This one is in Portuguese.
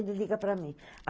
Ele liga para mim.